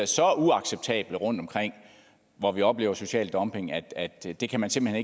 så uacceptable rundtomkring hvor vi oplever social dumping at at det kan man simpelt